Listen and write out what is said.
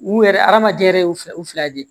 U yɛrɛ adamaden yɛrɛ ye u fila u fila ye